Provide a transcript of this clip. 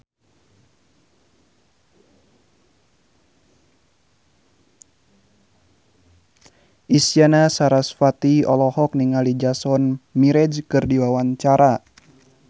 Isyana Sarasvati olohok ningali Jason Mraz keur diwawancara